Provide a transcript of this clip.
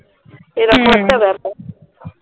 সেরকম একটা ব্যাপার